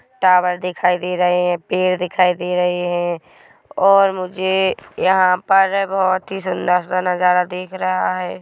Tower दिखाई दे रहे है पेड़ दिखाई दे रहे है और मुझे यहाँ पर बहुत सुंदर से नजरा दिख रहा है।